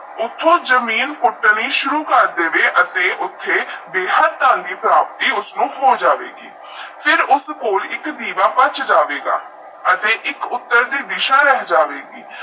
ਓਥੋ ਜਮੀਨ ਪੁਤਨੀ ਸੁਰੂ ਕਰ ਦਵੇ ਅਤੇ ਓਥੇ ਬੇਹਦ ਧਨ ਦੀ ਪ੍ਰਾਪਤੀ ਉਸਨੂ ਹੋ ਜਾਵੇਗੀ ਫੇਰ ਉੱਸਦੇ ਕੋਲ ਇਕ ਦੀਵਾ ਬੱਚ ਜਾਵੇਗਾ ਅਤੇ ਇਕ ਉੱਤਰ ਦੀ ਦੀਸਾ ਰਹਿ ਜਾਵੇਗੀ